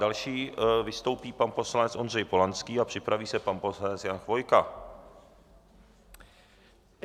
Další vystoupí pan poslanec Ondřej Polanský a připraví se pan poslanec Jan Chvojka.